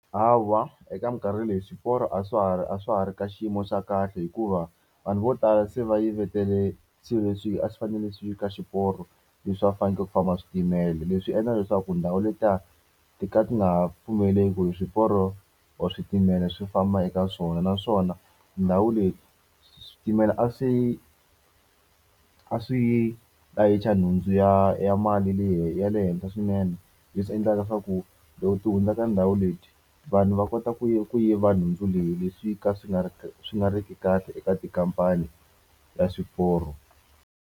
Hawa eka minkarhi leyi swiporo a swa ha ri a swa ha ri ka xiyimo xa kahle hikuva, vanhu vo tala se va yivetele swilo leswi a swi fanele swi ve ka xiporo leswi a faneleke ku famba switimela. Leswi endla leswaku ndhawu letiya ti ka ti nga pfumeliki ku hi swiporo or switimela swi famba eka swona. Naswona ndhawu leyi switimela a swi a swi layicha nhundzu ya ya mali ya le henhla swinene. Leswi endlaka leswaku loko ti hundzaka ndhawu leyi, vanhu va kota ku ku yiva nhundzu leyi leswi ka swi nga ri swi nga ri ki kahle eka tikhamphani ta swiporo.